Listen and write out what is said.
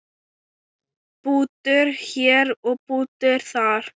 Bútur hér og bútur þar.